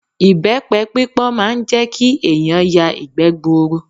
Ìbẹ́pe pípọ́n máa ń jẹ́ kí ẹ̀yàn ya ìgbẹ́ gbuuru.